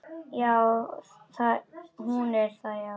Hún er það, já.